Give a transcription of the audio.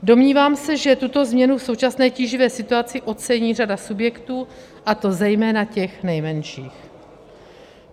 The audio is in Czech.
Domnívám se, že tuto změnu v současné tíživé situaci ocení řada subjektů, a to zejména těch nejmenších.